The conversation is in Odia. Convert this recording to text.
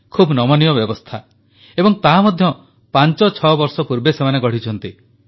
ଖୁବ୍ ନମନୀୟ ବ୍ୟବସ୍ଥା ଏବଂ ତାହା ମଧ୍ୟ ପାଞ୍ଚଛଅ ବର୍ଷ ପୂର୍ବେ ସେମାନେ ଗଢ଼ିଛନ୍ତି